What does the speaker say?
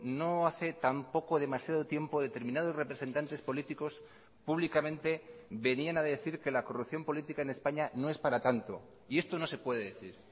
no hace tampoco demasiado tiempo determinados representantes políticos públicamente venían ha decir que la corrupción política en españa no es para tanto y esto no se puede decir